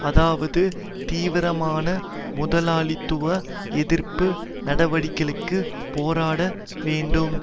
அதாவது தீவிரமான முதலாளித்துவ எதிர்ப்பு நடவடிக்கைகளுக்கு போராட வேண்டும்